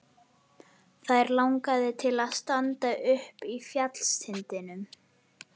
Þær langaði til að standa uppi á fjallstindinum.